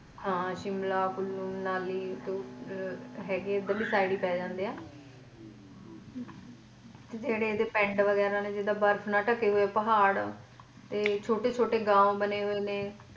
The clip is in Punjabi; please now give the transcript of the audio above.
ਹਾਂ ਸ਼ਿਮਲਾ ਕੁੱਲੂ ਮਨਾਲੀ ਕੁਰਦ ਹੈਗੇ ਇੰਦਰ ਲਈ side ਹੀ ਪੈ ਜਾਂਦੇ ਨੇ ਜਿਹੜੇ ਇਹਦੇ ਪਿੰਡ ਵਗੈਰਾ ਨੇ ਜਿੱਦਾਂ ਬਰਫ਼ ਨਾਲ ਢਕੇ ਹੋਏ ਪਹਾੜ ਤੇ ਛੋਟੇ ਛੋਟੇ ਗਾਓ ਬਣੇ ਹੋਏ ਨੇ।